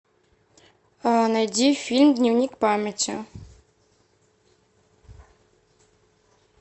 найди фильм дневник памяти